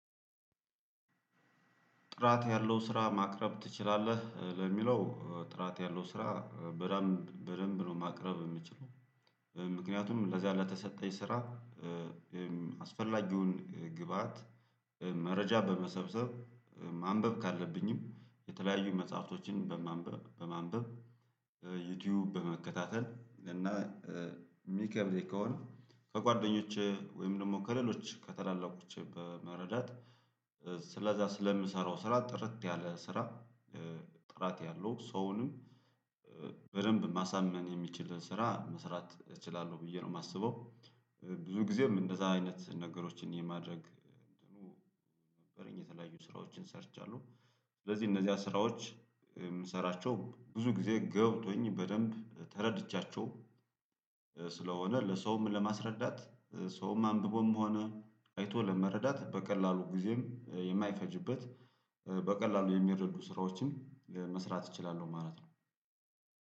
ጥራት ያለው ስራ ማቅረብ ትችላለህ ለሚለው ጥራት ያለው ስራ በደንብ ነው ማቅረብ የምችለው። ምክንያቱም ለዚያ ለተሰጠኝ ስራ አስፈላጊውን ግብአት መረጃ በመሰብሰብ ማንበብ ካለብኝም የተለያዩ መጽሐፍቶችን በማንበብ በማንበብ ዩቲዩብ በመከታተል እና የሚከብድ ከሆነ ከጓደኞቼ ወይም ደግሞ ከሌሎች ከታላላቆቼ በመረዳት ስለዛ ስለምሰራው ስራ ጥርት ያለ ስራ። ጥራት ያለው ሰውንም በደንብ ማሳመን የሚችል ስራ መስራት እችላለሁ ብዬ ነው የማስበው። ብዙ ጊዜም እንደዛ አይነት ነገሮችን የማድረግ ነበረኝ የተለያዩ ስራዎችን ሰርቻለሁ። ስለዚህ እነዚህ ስራዎች የምሰራቸው ብዙ ጊዜ ገብቶኝ በደንብ ተረድቻቸው። ስለሆነ ለሰውም ለማስረዳት ሰውም አንብቦም ሆነ አይቶ ለመረዳት በቀላሉ ጊዜም የማይፈጅበት በቀላሉ የሚረዱ ስራዎችም መስራት እችላለሁ ማለት ነው።